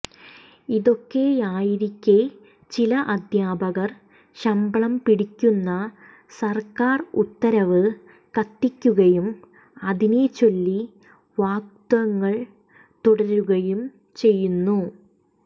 ഇതൊക്കെയായിരിക്കെ ചില അദ്ധ്യാപകർ ശമ്പളം പിടിക്കുന്ന സർക്കാർ ഉത്തരവ് കത്തിക്കുകയും അതിനെ ചൊല്ലി വാഗ്വാദങ്ങൾ തുടരുകയും ചെയ്യുന്നു